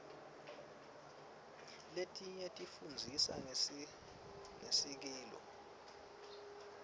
letinye tifundzisa ngesikilo